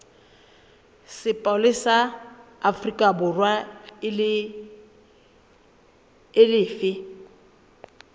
sepolesa sa aforikaborwa e lefe